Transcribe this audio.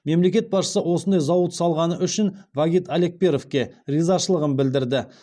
мемлекет басшысы осындай зауыт салғаны үшін вагит алекперовке ризашылығын білдірді